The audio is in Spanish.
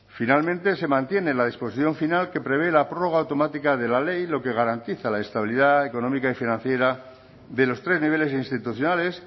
finalmente se mantiene la disposición final que prevé la prórroga automática de la ley lo que garantiza la estabilidad económica y financiera de los tres niveles institucionales